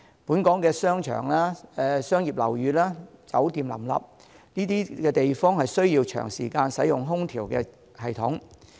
本港商場、商業樓宇、酒店林立，這些地方需要長時間使用空調系統。